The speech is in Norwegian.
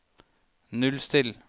nullstill